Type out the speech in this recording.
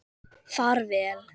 Far vel.